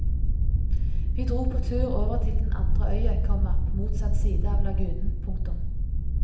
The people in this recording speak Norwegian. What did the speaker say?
Vi dro på tur over til den andre øya, komma på motsatt side av lagunen. punktum